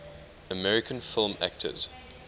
american film actors